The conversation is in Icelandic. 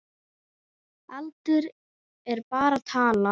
Aldur er bara tala.